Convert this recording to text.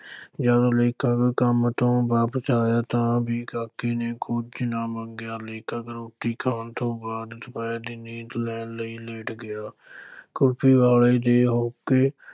ਜਦੋਂ ਲੇਖਕ ਕੰਮ ਤੋਂ ਵਾਪਸ ਆਇਆ ਤਾਂ ਵੀ ਕਾਕੇ ਨੇ ਕੁਝ ਨਾ ਮੰਗਿਆ, ਲੇਖਕ ਰੋਟੀ ਖਾਣ ਤੋਂ ਬਾਅਦ ਦੁਪਹਿਰ ਦੀ ਨੀਂਦ ਲੈਣ ਲਈ ਲੇਟ ਗਿਆ ਕੁਲਫ਼ੀ ਵਾਲੇ ਦੇ ਹੋਕੇ